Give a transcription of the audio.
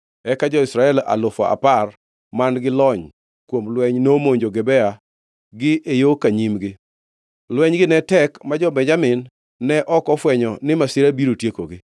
Eka jo-Israel alufu apar man-gi lony kuom lweny nomonjo Gibea gi e yo ka nyimgi. Lwenygi ne tek ma jo-Benjamin ne ok ofwenyo ni masira biro tiekogi.